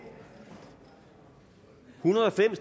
hundrede og fem